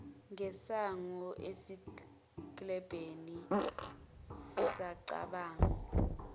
ngesango esiklebheni sacabanga